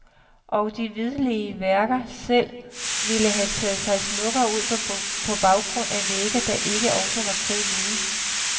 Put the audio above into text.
Og de hvidlige værker selv ville have taget sig smukkere ud på baggrund af vægge, der ikke også var kridhvide.